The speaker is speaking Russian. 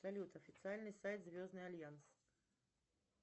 салют официальный сайт звездный альянс